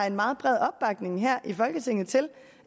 en meget bred opbakning her i folketinget til